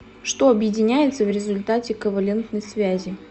что объединяется в результате ковалентной связи